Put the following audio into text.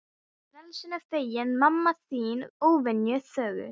Ég frelsinu feginn, mamma þín óvenju þögul.